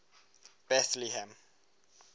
bethlehem